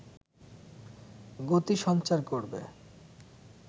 গতি সঞ্চার করবে